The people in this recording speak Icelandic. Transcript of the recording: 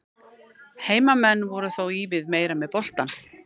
Heimamenn voru þó ívið meira með boltann.